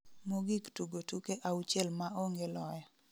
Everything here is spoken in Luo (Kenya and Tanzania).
mogik tugo tuke auchiel maonge loyo